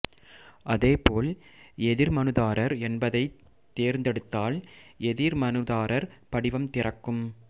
அதே போல் எதிர் மனுதாரர் என்பதைத் தேர்ந்தெடுத்தால் எதி மனுதாரர் படிவம் திறக்கும்